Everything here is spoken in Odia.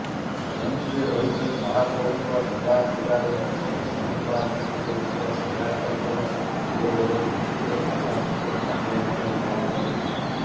ଯେଉଁଥିରେ ରହିଛି ମହାପ୍ରଭୁଙ୍କ ସେବାପୂଜାରେ ବିଶୃଙ୍ଖଳା ସୃଷ୍ଟି କରୁଥିବା ସେବାୟତଙ୍କ ବିରୋଧରେ ମୁଖ୍ୟ ପ୍ରଶାସକ କାର୍ଯ୍ୟାନୁଷ୍ଠାନ ଗ୍ରହଣ କରନ୍ତୁ